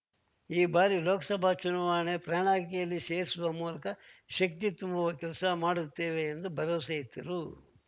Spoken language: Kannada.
ಈ ಬಾರಿಯ ಲೋಕಸಭಾ ಚುನಾವಣೆ ಪ್ರಣಾಳಿಕೆಯಲ್ಲಿ ಸೇರಿಸುವ ಮೂಲಕ ಶಕ್ತಿ ತುಂಬುವ ಕೆಲಸ ಮಾಡುತ್ತೇವೆ ಎಂದು ಭರವಸೆಯಿತ್ತರು